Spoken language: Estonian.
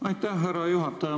Aitäh, härra juhataja!